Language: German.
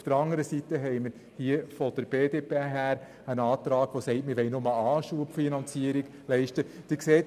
Auf der anderen Seite haben wir einen Antrag von der BDP, der nur eine Anschubfinanzierung leisten will.